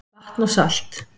Vatn og salt